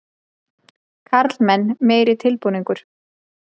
Karlmenn meiri tilbúningur.